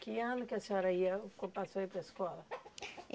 Que ano que a senhora ia ou passou a ir para a escola?